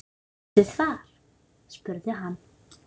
Viljið þið far? spurði hann.